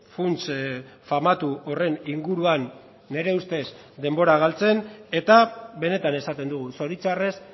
funts famatu horren inguruan nire ustez denbora galtzen eta benetan esaten dugu zoritxarrez